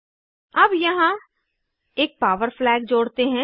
अब यहाँ एक पावर फ्लैग जोड़ते हैं